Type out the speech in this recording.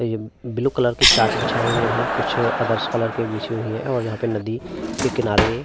और ये blue colour के चाट बिछाये हुए है। कुछ अदर्स कलर के बिछी हुई है और यहाँ पे नदी के किनारे--